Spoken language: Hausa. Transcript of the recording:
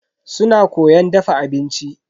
Suna koyan dafa abinci.